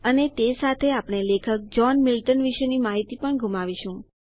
અને તે સાથે આપણે લેખક જોહ્ન મિલ્ટન વિશેની માહિતીને પણ ગુમાવીશું